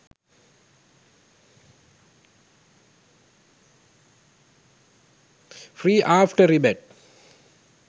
free after rebate